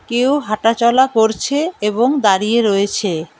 কেউ হাঁটাচলা করছে এবং দাঁড়িয়ে রয়েছে।